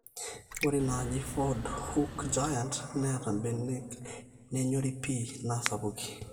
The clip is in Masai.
ore inanaji ford hook giant neeta mbenek naanyorri pii naa sapukin